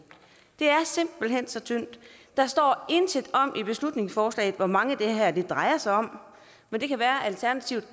det er simpelt hen så tyndt der står intet om i beslutningsforslaget hvor mange det her drejer sig om men det kan være at alternativet